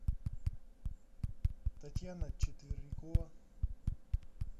татьяна четверякова